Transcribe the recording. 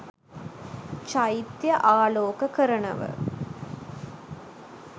චෛත්‍යය ආලෝක කරනව.